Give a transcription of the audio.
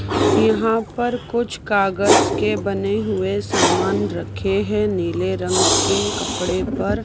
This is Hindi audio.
यहां पर कुछ कागज के बने हुए सामान रखे हैं नीले रंग के कपड़े पर--